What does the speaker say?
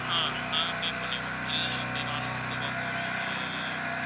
அஹ் நாங்க pay பண்ணிடுவோம் இல்லை அப்படின்னாலும் உங்களுக்கு வந்து ஒரு